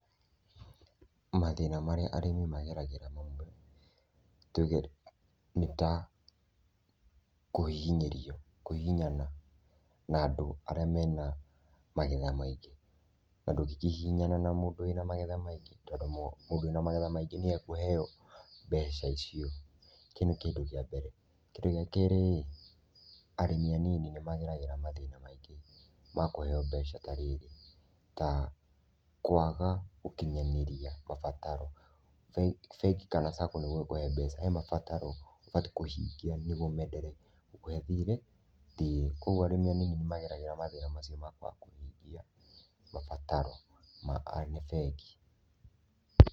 Mathĩna marĩa arĩmi magereagĩra ma mbeca tuge rĩ, nĩ ta kũhihinyĩrio kũhihinyana na andũ arĩa mena magetha maingĩ na ndũngĩkĩhihinyana na mũndũ wĩna magetha maingĩ, tondũ mũndũ wĩna magetha maingĩ nĩ we ekũheo mbeca icio, kĩu nĩ kĩndũ kĩa mbere. Kĩndũ gĩa kerĩ ĩ, arĩmi anini nĩ mageragĩra mathĩna maingĩ ma kũheo mbeca ta rĩrĩ, ta kũaga gũkinyanĩria mabataro. Bengi kana sacco nĩguo ĩkũhe mbeca, he mabataro ũbatiĩ kũhingia nĩguo meenderee gũkũhe thirĩ kwoguo arĩmi anini nĩ mageragĩra mathĩna macio na kũaga kũhingia mabataro ma bengi.